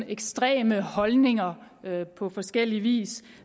ekstreme holdninger på forskellig vis